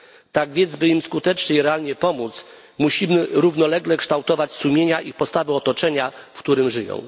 Tak więc, by im skutecznie i realnie pomóc, musimy równolegle kształtować sumienia i postawy otoczenia, w którym żyją.